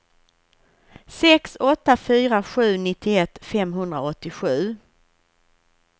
sex åtta fyra sju nittioett femhundraåttiosju